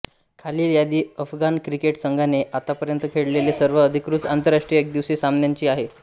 खालील यादी अफगाण क्रिकेट संघाने आतापर्यंत खेळलेल्या सर्व अधिकृत आंतरराष्ट्रीय एकदिवसीय सामन्यांची आहे